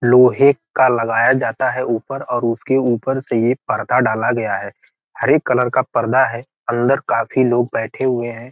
लोहे का लगाया जाता है ऊपर और उसके ऊपर से एक पर्दा डाला गया है हरे कलर का पर्दा है अंदर काफी लोग बैठे हुए है।